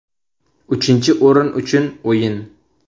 Uchinchi o‘rin uchun o‘yin.